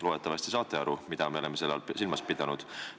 Loodetavasti te saate aru, mida me oleme selle all silmas pidanud.